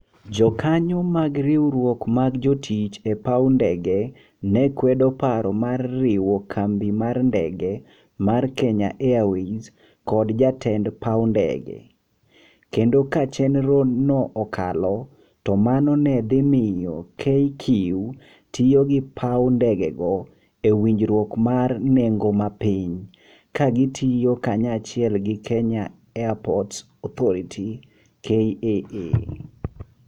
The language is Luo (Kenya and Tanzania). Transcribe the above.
Jokanyo mag riwruok mag jotich e paw ndege ne kwedo paro mar riwo kambi mar ndege mar Kenya Airways kod jatend paw ndege, kendo ka chenro no okalo, to mano ne dhi miyo KQ tiyo gi paw ndegego e winjruok mar nengo mapiny ka gitiyo kanyachiel gi Kenya Airports Authority (KAA)